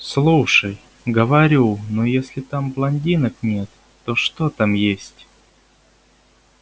слушай говорю ну если там блондинок нет то что там есть